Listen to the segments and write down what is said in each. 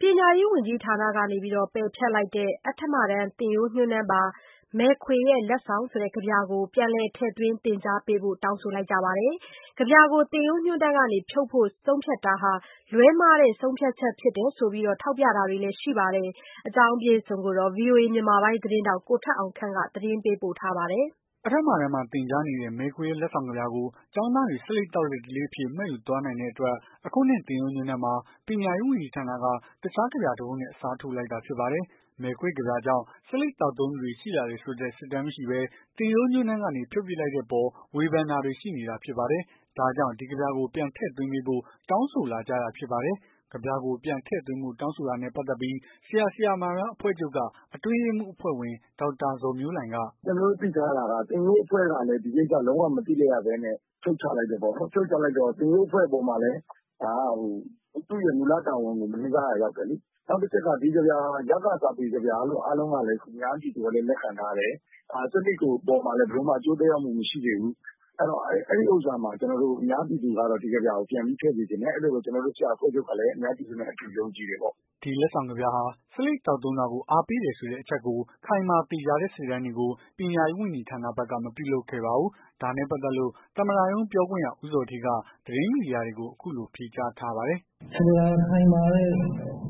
ပညာရေးဝန်ကြီးဌာနက ပယ်ဖျက်လိုက်တဲ့ အဋ္ဌမတန်း သင်ရိုးညွှန်းတန်းပါ မယ်ခွေရဲ့ လက်ဆောင် ကဗျာကို ပြန်လည်ထည့်သွင်း သင်ကြားပေးဖို့ တောင်းဆိုနေကြပါတယ်။ ကဗျာကို သင်ရိုးညွှန်းတန်းက ဖြုတ်ဖို့ ဆုံးဖြတ်တာဟာ လွဲမှားတဲ့ ဆုံးဖြတ်ချက်ဖြစ်တယ်လို့ ထောက်ပြတာတွေလည်း ရှိပါတယ်။ ဒီအကြောင်းကို ဗွီအိုအေ မြန်မာပိုင်းသတင်းထောက် ကိုထက်အောင်ခန့်က သတင်းပေးပို့ ထားပါတယ်။ အဋ္ဌမတန်း မှာ သင်ကြားတဲ့ မယ်ခွေရဲ့လက်ဆောင်ကဗျာကို ကျောင်းသားတွေ ဆေးလိပ်သောက်တဲ့ ဓလေ့အဖြစ် မှတ်ယူသွားနိုင်တဲ့ အတွက် အခုနှစ် သင်ရိုးညွှန်းတန်းမှာ ပညာရေးဝန်ကြီးဌာနက တခြားကဗျာ တပုဒ်နဲ့ အစားထိုးလိုက်တာဖြစ်ပါတယ်။ မယ်ခွေကဗျာကြောင့် ဆေးလိပ်သောက်သုံးသူတွေရှိလာတယ်ဆိုတဲ့ စစ်တမ်းမရှိဘဲ သင်ရိုးညွှန်းတန်း ကနေ ဖြုတ်ပစ်လိုက်တဲ့အပေါ် ဝေဖန်တာတွေရှိနေတာတွေဖြစ်ပါတယ်။ ဒါကြောင့် ဒီကဗျာကို ပြန်ထည့်သွင်းပေးဖို့ တောင်းဆို လာကြတာဖြစ်ပါတယ်။ ကဗျာကို ပြန်ထည့်သွင်းပေးဖို့ တောင်းဆိုတာနဲ့ ပတ်သက်လို့ ဆရာ၊ ဆရာမများအဖွဲ့ချုပ်က အတွင်းရေးမှူး အဖွဲ့ဝင် ဒေါက်တာဇော်မျိုးလှိုင်က "ကျွန်တော်တို့သိထားတာက သင်ရိုးအဖွဲ့ကလည်း ဒီကိစ္စကို လုံးဝမသိဘဲ ဖြုတ်ချလိုက်တယ်ပေါ့နော်။ သင်ရိုးအဖွဲ့အပေါ်မှာလည်း သူ့ရဲ့မူလ တာဝန်ကို မလေးစားရာ ရောက်တယ်လေ။ နောက်တချက်က ဒီကဗျာဟာ ရသစာပေကဗျာလို့ အားလုံးကလည်း လက်ခံထားတယ်။ အများပြည်သူကလည်း လက်ခံ ထားတယ်။ ဆေးလိပ်အပေါ်မှာလည်း ဘယ်လိုမှ အကျိုးသက်ရောက်မှု မရှိခဲ့ဘူး။ အဲ့ဒီတော့ အများပြည်သူကတော့ ဒီကဗျာကို ပြန်ပြီး ထည့်စေချင်တယ်။ အဲ့တော့ ဆရာအဖွဲ့ချုပ်ကလည်း အများပြည်သူနဲ့ အတူ ယုံကြည်တယ်ပေါ့။" ဒီလက်ဆောင်ကဗျာဟာ ဆေးလိပ်သောက်သုံးတာကို အားပေးတယ်ဆိုတဲ့အချက်ကို ခိုင်မာသေချာတဲ့ စစ်တမ်းတွေကို ပညာရေးဝန်ကြီးဌာနဘက်က မပြုလုပ်ခဲ့ပါဘူး။ ဒါနဲ့ပတ်သက်လို့ သမ္မတရုံးပြောခွင့်ရ ဦးဇော်ဌေးက သတင်းမီဒီယာတွေကို အခုလိုဖြေကြားထားပါတယ်။ "ဆိုလိုတာက ခိုင်မာတဲ့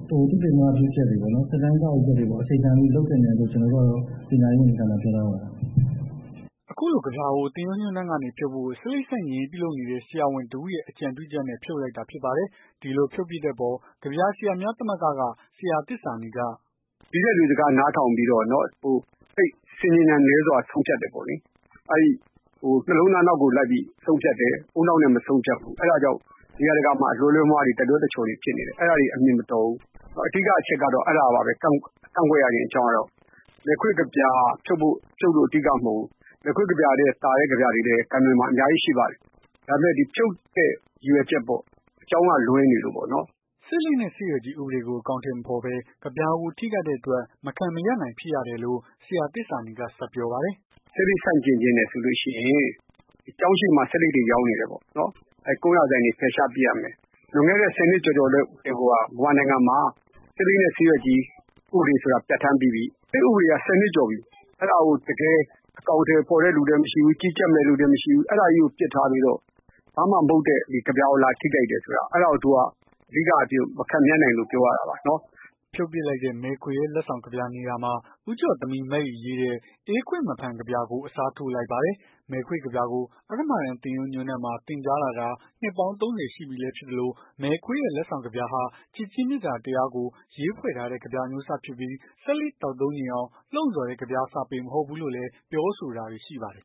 သုတေသနပြုချက်တွေ စစ်တမ်းကောက်ယူချက်တွေကို အခြေခံပြီး လုပ်သင့်တယ်လို့ ကျွန်တော်တို့ကတော့ ပညာရေးဝန်ကြီးဌာနကို ပြောထားပါတယ်။" အခုလို ကဗျာကို သင်ရိုးညွှန်းတန်းကနေ ဖြုတ်ဖို့ ဆေးလိပ်ဆန့်ကျင်ရေး ပြုလုပ်နေတဲ့ ဆရာဝန် တစ်ဦးက အကြံပြုချက်နဲ့ ဖြုတ်လိုက်တာဖြစ်ပါတယ်။ ဒီလို ဖြုတ်ပစ်တဲ့အပေါ် ကဗျာဆရာများ သမဂ္ဂက ဆရာသစ္စာနီက "နီးစပ်သူစကားနားထောင်ပြီးတော့ စိတ်ဆင်ခြင်ဉာဏ်နည်းစွာ ဆုံးဖြတ်တယ်ပေါ့။ အဲ့နှလုံးသားနောက်ကို လိုက်ပြီး ဆုံးဖြတ်တယ်။ ဦးနှောက်နဲ့ မဆုံးဖြတ်ဘူး။ အဲ့ဒါကြောင့် နေရာတကာမှာ အလွဲလွဲအမှားမှားတွေ တလွဲတချော်တွေဖြစ်နေတယ်။ အဲ့ဒါတွေ အမြင်မတော်ဘူး အဓိက အချက်က အဲ့ဒါပါပဲ ကန့်ကွက်ရခြင်း အကြောင်းကတော့ မယ်ခွေ့ကဗျာဖြုတ်လို့ အဓိကမဟုတ်ဘူး။ မယ်ခွေ့ကဗျာထက် သာတဲ့ ကဗျာတွေလည်း ဂန္တဝင်မှာ အများကြီးရှိပါတယ်။ ဒါပေမယ့် ဖြုတ်တဲ့ ရည်ရွယ်ချက်ပေါ့။ အကြောင်းအရာ လွဲနေလို့ပေါ့။" ဆေးလိပ်နဲ့ဆေးရွက်ကြီး ဥပဒေကို အကောင်အထည်မဖော်ဘဲ ကဗျာကို ထိခိုက်တဲ့အတွက် မခံမရပ် နိုင်ဖြစ်ရတယ်လို့ ဆရာ သစ္စာနီက ဆက်ပြောပါတယ်။ "ဆေးလိပ်ကို ဆန့်ကျင်ချင်တယ်ဆိုရင် ကျောင်းရှေ့မှာ ဆေးလိပ်တွေရောင်းနေတယ်ပေါ့။ အဲ့ကွမ်းယာဆိုင်တွေ ဖယ်ရှားပစ်ရမယ်။ လွန်ခဲ့တဲ့ ၁၀ နှစ်ကျော်ကျော်လောက်ကတည်းကိုက မြန်မာနိုင်ငံမှာ ဆေးလိပ်နဲ့ ဆေးရွက်ကြီး ဥပဒေဆိုတာ ပြဌာန်းပြီးပြီ အဲ့ဥပဒေက ၁၀ နှစ်ကျော်ပြီ အဲ့ဒါကို တကယ်အကောင်အထည် ဖော်တဲ့လူလည်းမရှိဘူး။ ကြီးကြပ်မယ့်လူလည်းမရှိဘူး။ အဲ့ဒါကြီးကို ပစ်ထားပြီးတော့ ဘာမှ မဟုတ်တဲ့ ကဗျာကို လာထိခိုက်တယ်ဆိုတာ အဲ့ဒါကို အဓိကအားဖြင့် မခံမရပ်နိုင်လို့ ပြောရတာပါ။" ဖြုတ်ပစ်လိုက်တဲ့ မယ်ခွေရဲ့ လက်ဆောင် ကဗျာနေရာမှာ ဦးကြော့သမီး မအိရေးတဲ့ အေးခွင့်မဖန် ကဗျာကို အစားထိုး လိုက်ပါတယ်။ မယ်ခွေကဗျာကို အဋ္ဌမတန်း သင်ရိုးညွှန်းတန်းမှာ သင်ကြားလာတာဟာ နှစ်ပေါင်း ၃၀ ရှိပြီလည်း ဖြစ်သလို မယ်ခွေရဲ့ လက်ဆောင်ကဗျာဟာ ချစ်ခြင်းမေတ္တာ တရားကို ရေးဖွဲ့ထားတဲ့ ကဗျာ အမျိုးအစားဖြစ်ပြီး ဆေးလိပ်သောက်သုံးချင်အောင် လှုံ့ဆော်တဲ့ ကဗျာစာပေမဟုတ်ဘူးလို့လည်း ပြောဆိုတာတွေ ရှိပါတယ်